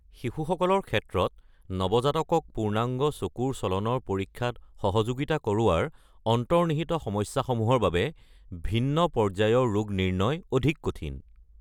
শিশুসকলৰ ক্ষেত্ৰত, নৱজাতকক পূৰ্ণাংগ চকুৰ চলনৰ পৰীক্ষাত সহযোগিতা কৰোৱাৰ অন্তৰ্নিহিত সমস্যাসমূহৰ বাবে ভিন্ন পৰ্যায়ৰ ৰোগ নিৰ্ণয় অধিক কঠিন।